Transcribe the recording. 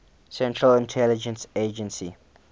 central intelligence agency